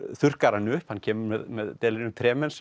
þurrkar hann upp hann kemur með